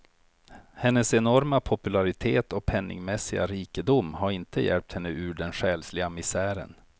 Hennes enorma popularitet och pengamässiga rikedom har inte hjälpt henne ur den själsliga misären.